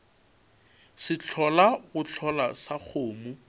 sehlola go hlola sa kgomo